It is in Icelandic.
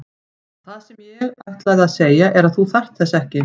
Og það sem ég ætlaði að segja er að þú þarft þess ekki.